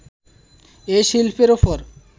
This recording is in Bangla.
এ শিল্পের ওপর